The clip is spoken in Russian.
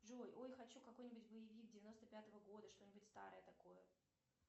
джой ой хочу какой нибудь боевик девяносто пятого года что нибудь старое такое